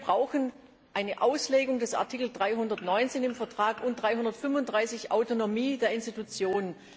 Wir brauchen eine Auslegung des Artikels 319 im Vertrag und des Artikel 335 Autonomie der Institutionen.